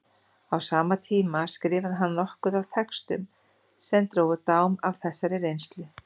Á sama tíma skrifaði hann nokkuð af textum sem drógu dám af þessari reynslu.